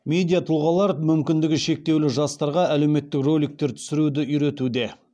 медиа тұлғалар мүмкіндігі шектеулі жастарға әлеуметтік роликтер түсіруді үйретуде